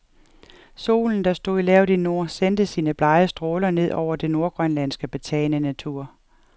Solen, der stod lavt i nord, sendte sine blege stråler ned over den nordgrønlandske, betagende natur.